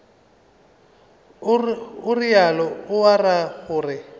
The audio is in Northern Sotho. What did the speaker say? o realo o ra gore